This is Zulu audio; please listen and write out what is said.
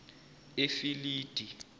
efilidi